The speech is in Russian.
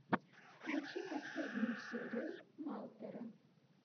включи последнюю серию малтера